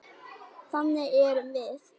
Þannig erum við.